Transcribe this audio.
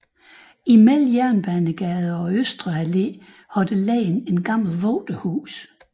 Mellem Jernbanegade og Østre Allé har der ligget et gammelt vogterhus